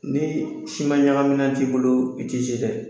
Ni siman ɲagaminan t'i bolo , i tɛ ei dɛ!